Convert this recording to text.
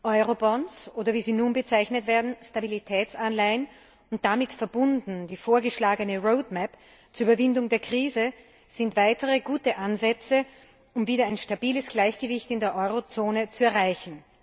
Eurobonds, oder wie sie nun bezeichnet werden Stabilitätsanleihen und damit verbunden die vorgeschlagene Roadmap zur Überwindung der Krise sind weitere gute Ansätze, um wieder ein stabiles Gleichgewicht in der Eurozone zu erreichen.